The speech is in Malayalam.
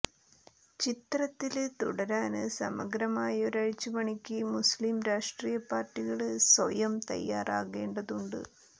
ചിത്രത്തില് തുടരാന് സമഗ്രമായ ഒരഴിച്ചുപണിക്ക് മുസ്ലിം രാഷ്ട്രീയ പാര്ട്ടികള് സ്വയം തയ്യാറാകേണ്ടതുണ്ട്